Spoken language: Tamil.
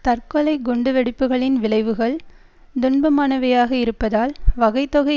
தற்கொலை குண்டுவெடிப்புக்களின் விளைவுகள் துன்பமானவையாக இருப்பதால் வகைதொகை